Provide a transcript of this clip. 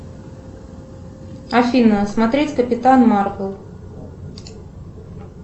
афина смотреть капитан марвел